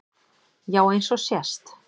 Já eins og sést